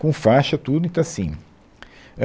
com faixa, tudo, então assim